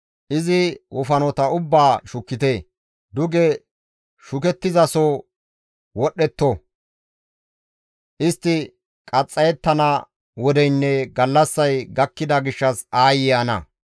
Izi wofanota ubbaa shukkite; duge shukettizaso wodhdhetto! Istti qaxxayettana wodeynne gallassay gakkida gishshas aayye ana!